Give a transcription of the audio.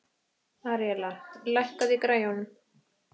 Aríella, lækkaðu í græjunum.